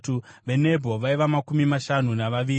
veNebho vaiva makumi mashanu navaviri;